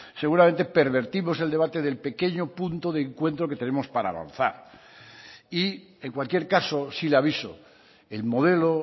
seguramente pervertimos el debate del pequeño punto de encuentro que tenemos para avanzar y en cualquier caso sí le aviso el modelo